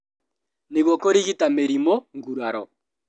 Nĩguo kũrigita mĩrimũ, nguraro